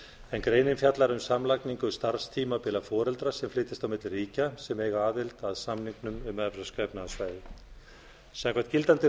en grein fjallar um samlagningu starfstímabila foreldra er flytjast milli ríkja sem eiga aðild að samningnum um evrópska efnahagssvæðið samkvæmt gildandi